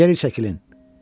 Geri çəkilin!